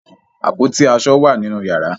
Àpótí aṣọ wà nínú yàrá.